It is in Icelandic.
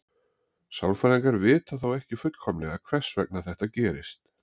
Sálfræðingar vita þó ekki fullkomlega hvers vegna þetta gerist.